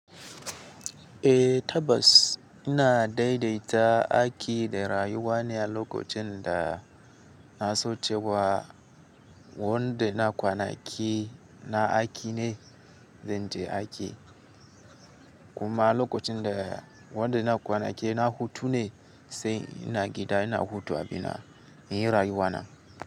Eh tabbas ina daidaita aiki da rayuwa ne a lokacin da na so cewa wanda na kwanaki na aiki ne, zan je aiki. Kuma a lokacin da wanda na kwanaki na hutu ne sai ina gida ina hutu abina, ina yi rayuwa na.